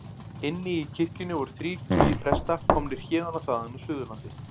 Inni í kirkjunni voru þrír tugir presta, komnir héðan og þaðan af Suðurlandi.